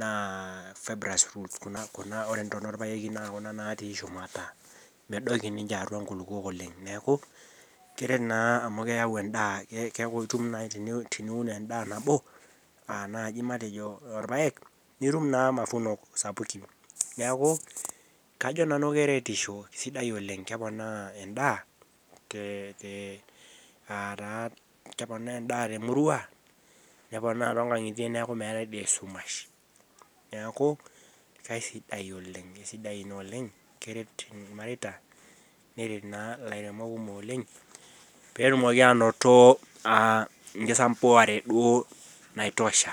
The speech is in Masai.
naa fibrous roots kuna, kuna uh ore intona orpayeki naa kuna natii shumata medoki ninche atua inkulukuok oleng neeku keret naa amu keyau endaa keeku itum naai teni teniun endaa nabo uh naaji matejo irpayek nitum naa mafunok sapukin niaku kajo nanu keretisho isidai oleng keponaa endaa te te ataa keponaa endaa temurua neponaa tonkang'itie neeku meetae de esumash neeku kaisidai oleng eisidai ina oleng keret irmareita neret naa ilairemok kumok oleng petumoki anoto uh enkisambuare duo naitosha.